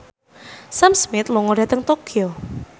Sam Smith lunga dhateng Tokyo